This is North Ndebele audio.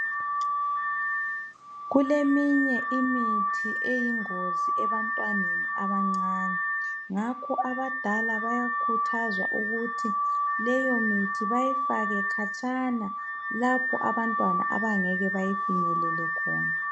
Kuleminye imithi eyingozi. ebantwaneni abancane ngakho abadala bayakhuthazwa ukuthi leyomithi bayifake khatshana lapho abantwana abangeke bayifinyelele khona.